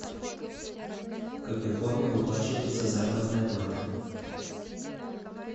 в какой форме выплачивается заработная плата